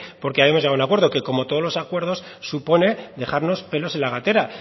porque habíamos llegado a un acuerdo que como todos los acuerdos supone dejarnos pelos en la gatera